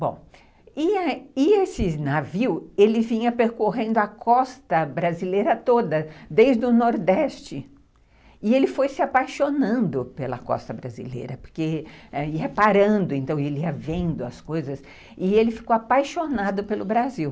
Bom, e e esse navio, ele vinha percorrendo a costa brasileira toda, desde o Nordeste, e ele foi se apaixonando pela costa brasileira, porque ia parando, então ele ia vendo as coisas, e ele ficou apaixonado pelo Brasil.